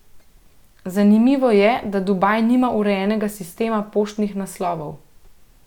Zanimivo je, da Dubaj nima urejenega sistema poštnih naslovov.